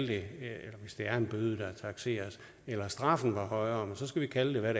det er en bøde der takseres eller straffen var højere men så skal vi kalde det hvad